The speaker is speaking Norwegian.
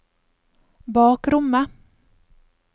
bakrommet